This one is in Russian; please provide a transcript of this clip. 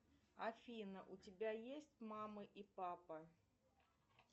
афина у тебя есть мама и папа